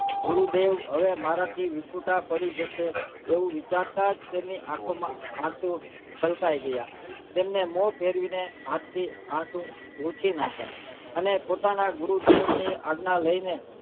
ગુરુદેવ હવે મારાથી વિખૂટા પડી જશે તેવું વિચારતા જ તેમની આંખો માં આશુ છલકાઈ ગયા તેમેન મોં ફેરવી ને હાથ થી આશુ લોંછી નાખીયા અને પોતાના ગુરુદેવ ની આજ્ઞા લઈ ને